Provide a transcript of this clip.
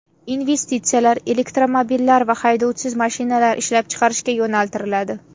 Investitsiyalar elektromobillar va haydovchisiz mashinalar ishlab chiqarishga yo‘naltiriladi.